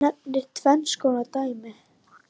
Hann nefnir tvenns konar dæmi